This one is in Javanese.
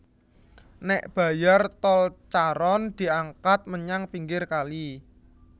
Nék bayar tol Charon diangkat menyang pinggir kali